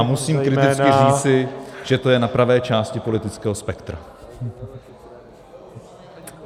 A musím kriticky říci, že to je na pravé části politického spektra.